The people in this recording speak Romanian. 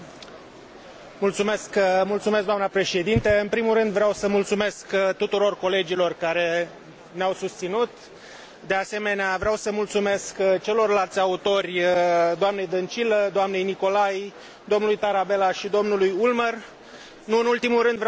În primul rând vreau să mulțumesc tuturor colegilor care ne au susținut, de asemenea vreau să mulțumesc celorlalți autori, doamnei Dăncilă, doamnei Nicolai, domnului Tarabella și domnului Ulmer, nu în ultimul rând vreau să mulțumesc tuturor asistentelor, asistenților